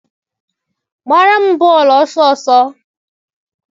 gbaara m bọọlụ! ọsọọsọ!